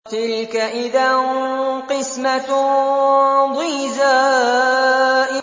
تِلْكَ إِذًا قِسْمَةٌ ضِيزَىٰ